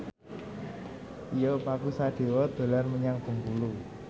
Tio Pakusadewo dolan menyang Bengkulu